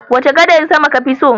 Wace gadar sama kafi so?